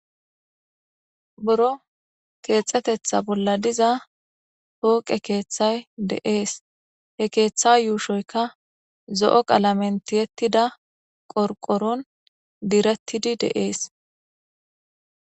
Buro keexxetetha bolla diza pooqe keeththay de7es he keeththa yuushoyka zo7o qalamen tiyettida qorqoron direttidi de7es.